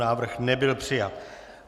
Návrh nebyl přijat.